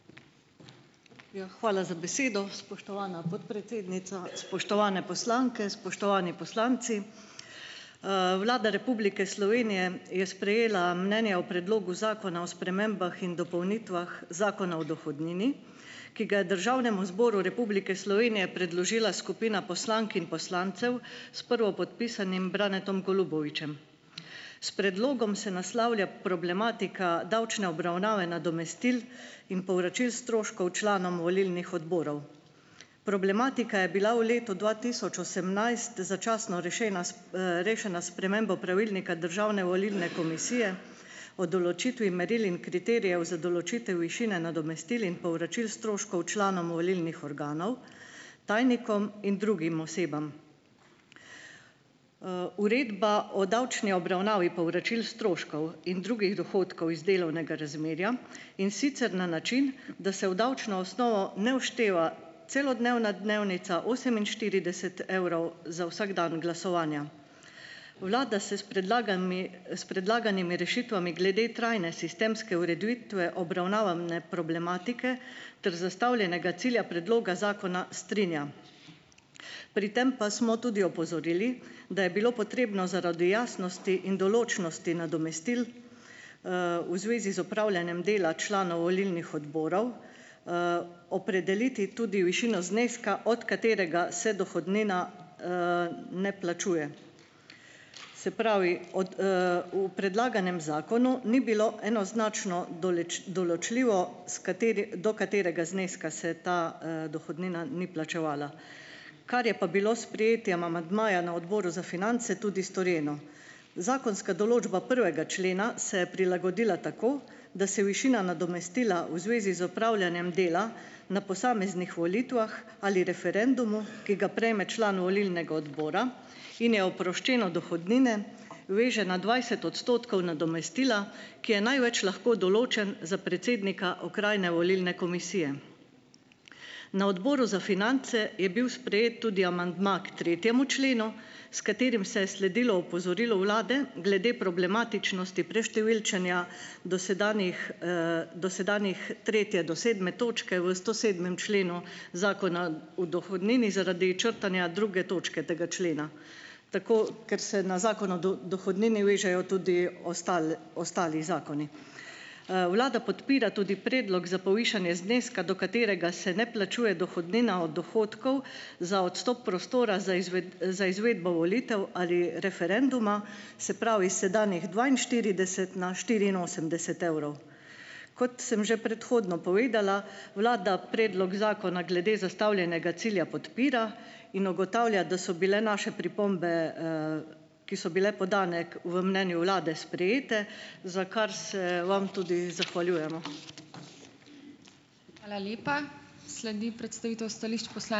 Ja, hvala za besedo, spoštovana podpredsednica. Spoštovane poslanke, spoštovani poslanci! Vlada Republike Slovenije je sprejela mnenje o predlogu zakona o spremembah in dopolnitvah zakona o dohodnini, ki ga je Državnemu zboru Republike Slovenije predložila skupina poslank in poslancev s prvopodpisanim Branetom Golubovičem. S predlogom se naslavlja problematika davčne obravnave nadomestil in povračil stroškov članom volilnih odborov. Problematika je bila v letu dva tisoč osemnajst začasno rešena rešena s spremembo pravilnika Državne volilne komisije o določitvi meril in kriterijev za določitev višine nadomestil in povračil stroškov članom volilnih organov, tajnikom in drugim osebam. Uredba o davčni obravnavi povračil stroškov in drugih dohodkov iz delovnega razmerja, in sicer na način da se v davčno osnovo ne všteva celodnevna dnevnica oseminštirideset evrov za vsak dan glasovanja. Vlada se s predlaganimi, s predlaganimi rešitvami glede trajne sistemske ureditve obravnavane problematike ter zastavljenega cilja predloga zakona strinja. Pri tem pa smo tudi opozorili, da je bilo potrebno zaradi jasnosti in določnosti nadomestil, v zvezi z opravljanjem dela članov volilnih odborov, opredeliti tudi višino zneska, od katerega se dohodnina, ne plačuje. Se pravi, od, v predlaganem zakonu ni bilo enoznačno določljivo, s do katerega zneska se ta, dohodnina ni plačevala, kar je pa bilo s sprejetjem amandmaja na Odboru za finance tudi storjeno. Zakonska določba prvega člena se je prilagodila tako, da se višina nadomestila v zvezi z opravljanjem dela na posameznih volitvah ali referendumu, ki ga prejme član volilnega odbora in je oproščen od dohodnine, veže na dvajset odstotkov nadomestila, ki je največ lahko določen za predsednika okrajne volilne komisije. Na Odboru za finance je bil sprejet tudi amandma k tretjemu členu, s katerim se je sledilo opozorilu vlade glede problematičnosti preštevilčenja dosedanjih, dosedanjih tretje do sedme točke v stosedmem členu Zakona v dohodnini zaradi črtanja druge točke tega člena, tako, ker se na Zakon o dohodnini vežejo tudi ostali zakoni. Vlada podpira tudi predlog za povišanje zneska, do katerega se ne plačuje dohodnina od dohodkov za odstop prostora za za izvedbo volitev ali referenduma, se pravi, iz sedanjih dvainštirideset na štiriinosemdeset evrov. Kot sem že predhodno povedala, vlada predlog zakona glede zastavljenega cilja podpira in ugotavlja, da so bile naše pripombe, ki so bile podane k v mnenju vlade, sprejete, za kar se vam tudi zahvaljujemo. Hvala lepa. Sledi predstavitev stališč ...